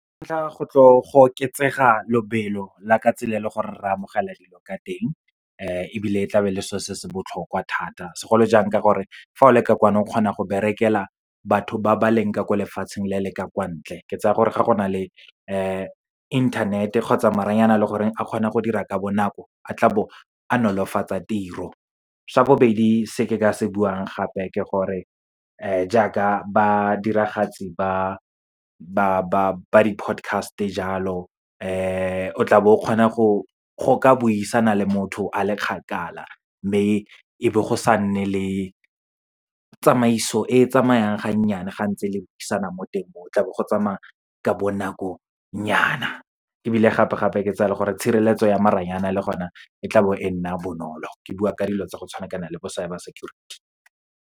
Sa ntlha, go tlo go oketsega lobelo la ka tsela e le gore re amogela dilo ka teng. Ebile tla be e le so se se botlhokwa thata segolo jang ka gore, fa o le ka kwano o kgona go berekela batho ba ba leng ka ko lefatsheng le le ka kwa ntle. Ke tsaya gore, ga go na le internet-e kgotsa maranyane, a kgonang go dira ka bonako, a tla bo a nolofatsa tiro. Sa bobedi se ke ka se buang gape ke gore, jaaka badiragatsi ba di podcast-e jalo, o tla bo o kgona go, go ka buisana le motho a le kgakala, mme e bo go sa nne le tsamaiso e tsamayang ga nnyane, ga ntse le buisana mo teng mo o, tla bo go tsamaya ka bonakonyana. Ebile gape-gape, ke tsaya gore tshireletso ya maranyane le gona e tla bo e nna bonolo, ke bua ka dilo tsa go tshwana le bo cyber security.